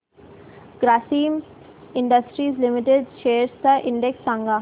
Grasim industries limited shares चा index सांगा